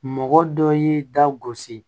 Mɔgɔ dɔ y'i da gosi